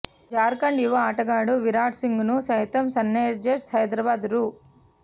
జార్ఖండ్ యువ ఆటగాడు విరాట్ సింగ్ను సైతం సన్రైజర్స్ హైదరాబాద్ రూ